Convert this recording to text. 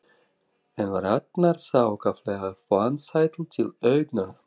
en var annars ákaflega vansæll til augnanna.